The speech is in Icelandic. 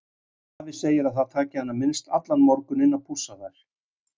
Afi segir að það taki hana minnst allan morguninn að pússa þær.